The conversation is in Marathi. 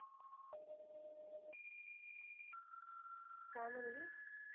काय म्हणली?